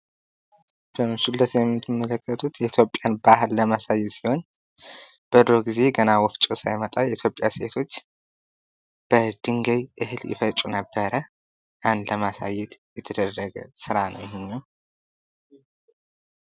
ይህ በምስሉ ላይ የምትመለከቱት የኢትዮጵያን ባህል ለማሳየት ሲሆን በድሮ ጊዜ ገና ወፍጮ ሳይመጣ የኢትዮጵያ ሴቶች በድንጋይ እህል ይፈጩ ነበር ። ያን ለማሳየት የተደረገ ስራ ነው ይሄኛው ።